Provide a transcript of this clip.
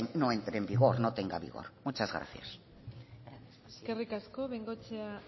no entre en vigor no tenga vigor muchas gracias eskerrik asko de bengoechea